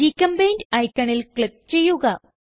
ഗ്ചെമ്പെയിന്റ് ഐക്കണിൽ ക്ലിക്ക് ചെയ്യുക